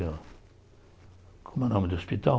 Eu como é o nome do hospital?